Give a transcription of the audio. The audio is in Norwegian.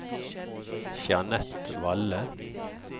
Jeanette Valle